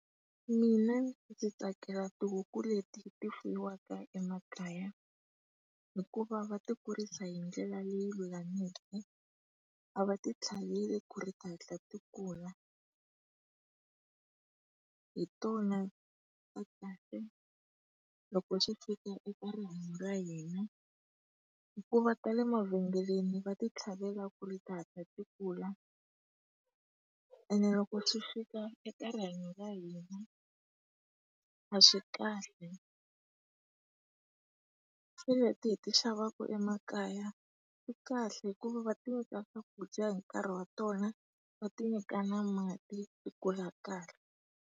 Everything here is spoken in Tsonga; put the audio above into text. Mina ndzi tsakela tihuku leti ti fuyiwaka emakaya, hikuva va ti kurisa hi ndlela leyi lulameke, a va ti tlhaveli ku ri ti hatla ti kulu . Hi tona ta kahle loko sWi-Fika eka rihanyo ra hina hikuva tale mavhengeleni va ti tlhavela ku ri tihatla ti kula, ene loko sWi-Fika eka rihanyo ra hina, a swi kahle. Se leti hi ti xavaku emakaya, ti kahle hikuva va ti nyika swakudya hi nkarhi wa tona, va ti nyika na mati tikulu kahle.